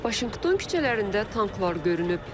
Vaşinqton küçələrində tanklar görünüb.